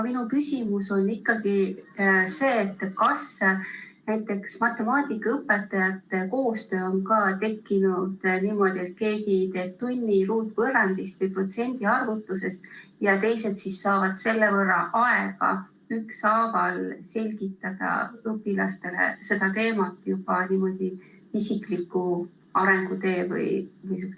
Minu küsimus on see, et kas näiteks matemaatikaõpetajate koostöö on ka tekkinud niimoodi, et keegi teeb tunni ruutvõrrandist või protsendi arvutamisest ja teised siis saavad selle võrra rohkem aega selgitada õpilastele seda teemat vastavalt igaühe arengule ja vajadustele.